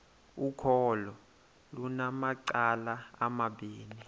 ukholo lunamacala amabini